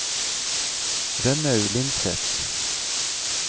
Rønnaug Lindseth